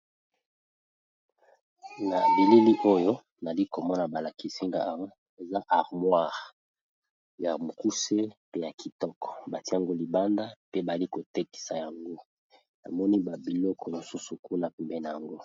Na bileli oyo nali komona balakisinga a eza armoire ya mokuse pe ya kitoko batiango libanda pe bali kotekisa yango namoni babiloko mosusu kuna pembe na yango.